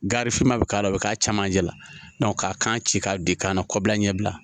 Garifinma bɛ k'a la o bɛ k'a cɛmancɛ la k'a kan ci k'a de kan na kɔbila ɲɛbila